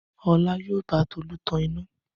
Ọlá yóò bá Tolú tan iná.